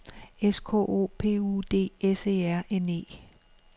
S K O P U D S E R N E